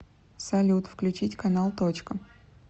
салют включить канал точка